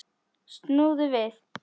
Snúðu við!